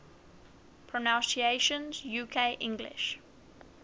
pronunciations uk english